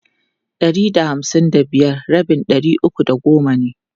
Ɗari da hamsin da biyar rabin ɗari uku da goma ne.